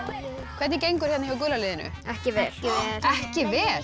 hvernig gengur hérna hjá gula liðinu ekki vel ekki vel